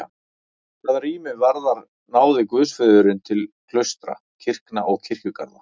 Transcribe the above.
Hvað rými varðar náði guðsfriðurinn til klaustra, kirkna og kirkjugarða.